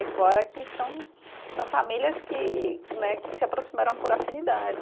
E fora que são, são famílias que que né, que se aproximaram por afinidade.